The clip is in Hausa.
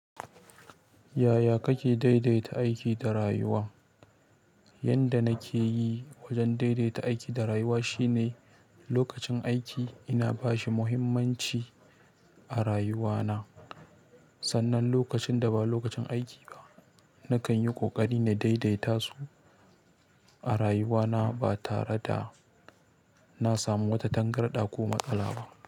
Yaya kake daidaita aiki da rayuwa? Yanda nake yi wajen daidaita aiki da rayuwa shine lokacin aiki ina bashi muhimmanci a rayuwa na. Sannan lokacin da ba lokacin aiki ba, nakan yi ƙoƙari na daidaita su a rayuwa na ba tare da na samu wata tangarɗa ko matsala ba.